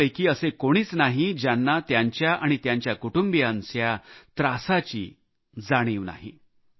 आपल्यापैकी असे कोणीच नाही ज्यांना त्यांच्या आणि त्यांच्या कुटुंबाच्या त्रासाची जाणीव नाही